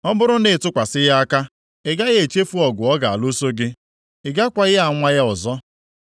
Ọ bụrụ na ị tụkwasị ya aka, ị gaghị echefu ọgụ ọ ga-alụso gị. Ị gakwaghị anwa ya ọzọ.